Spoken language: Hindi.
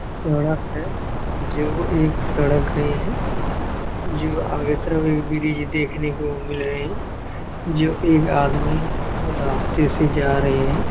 सड़क है जो एक सड़क गया है जो आगे तरफ में भी मुझे देखने को मिल रहे है जो एक आदमी रास्ते से जा रहे है।